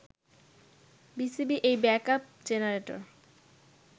BCB এই backup generator